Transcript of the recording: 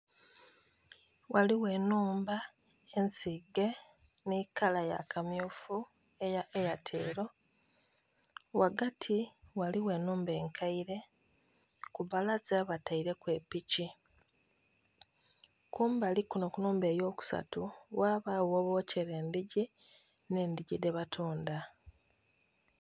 Ghaligho enhumba ensige nhikala yakamyufu eya ayatelo, ghagati ghaligho enhumba enkaire kubbalaza bataireku epiki kumbali kuno kunhumba eyokusatu ghabagho ghebokyera endhigi nhendhigi dhebatundha.